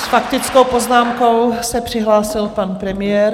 S faktickou poznámkou se přihlásil pan premiér.